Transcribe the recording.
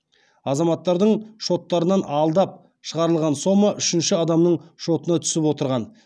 азаматтардың шоттарынан алдап шығарылған сома үшінші адамның шотына түсіп отырған